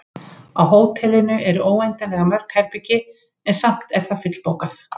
Á hótelinu eru óendanlega mörg herbergi, en samt er það fullbókað.